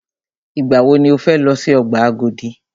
Ìgbà wọ ni o fẹ lọ si ọgbà Agodi?